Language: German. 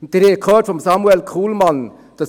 Sie haben von Samuel Kullmann gehört: